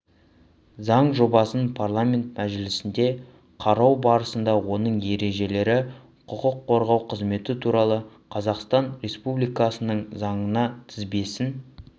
заң жобасын парламент мәжілісінде қарау барысында оның ережелері құқық қорғау қызметі туралы қазақстан республикасының заңына тізбесін